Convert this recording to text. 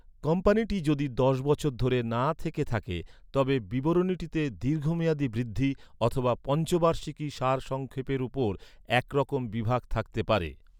কোম্পানিটি যদি দশ বছর ধরে না থেকে থাকে, তবে বিবরণটিতে "দীর্ঘমেয়াদী বৃদ্ধি" অথবা "পঞ্চবার্ষিকী সারসংক্ষেপের ওপর একরকমের বিভাগ থাকতে পারে।